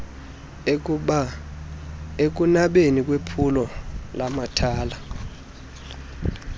ekunabeni kwephulo lamathala